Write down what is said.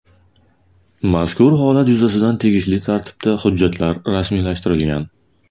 Mazkur holat yuzasidan tegishli tartibda hujjatlar rasmiylashtirilgan.